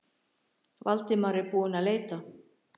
Valdimar er búinn að leita.